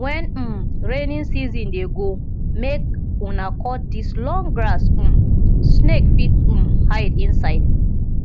wen um rainy season dey go make una cut dis long grass um snake fit um hide inside